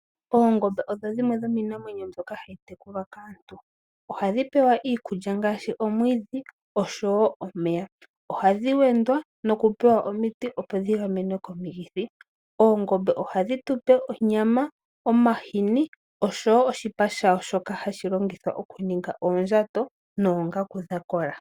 Oongombe odho dhimwe dhomiinamwenyo mbyoka hayi tekulwa kaantu. Ohadhi pewa ngaashi omwiidhi osho wo omeya. Ohadhi wendwa nokupewa omiti, opo dhi gamenwe komikithi. Oongombe ohadhi tu pe onyama, omahini osho wo oshipa shadho shoka hashi longithwa okuninga oondjato noongaku dha kola.